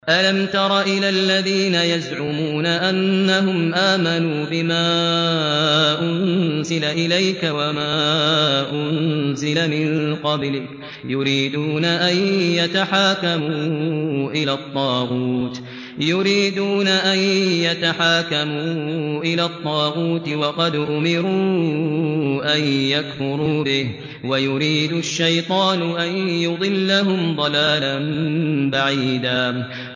أَلَمْ تَرَ إِلَى الَّذِينَ يَزْعُمُونَ أَنَّهُمْ آمَنُوا بِمَا أُنزِلَ إِلَيْكَ وَمَا أُنزِلَ مِن قَبْلِكَ يُرِيدُونَ أَن يَتَحَاكَمُوا إِلَى الطَّاغُوتِ وَقَدْ أُمِرُوا أَن يَكْفُرُوا بِهِ وَيُرِيدُ الشَّيْطَانُ أَن يُضِلَّهُمْ ضَلَالًا بَعِيدًا